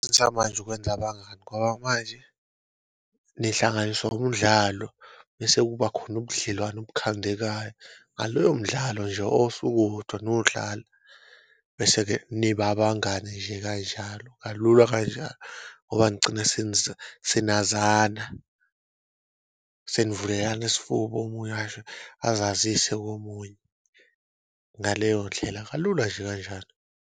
Ukwenza abangani ngoba manje nihlanganiswa umdlalo bese kuba khona ubudlelwane obukhandekayo ngalowo mdlalo nje osuke uwodwa niwudlala, bese-ke nibe abangani nje kanjalo kalula kanjalo. Ngoba nigcine senazana senivulelana isifuba omunye azazise komunye ngaleyo ndlela kalula nje kanjalo.